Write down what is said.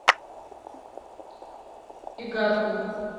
игарку